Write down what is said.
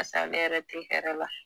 pase ale yɛrɛ te hɛrɛ la